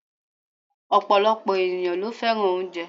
Ọ̀pọ̀lọpọ̀ ènìyàn ló fẹ́ràn oúnjẹ